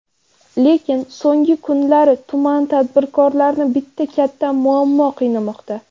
Lekin, so‘nggi kunlari tuman tadbirkorlarini bitta katta muammo qiynamoqda.